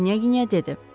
Knyaqinya dedi.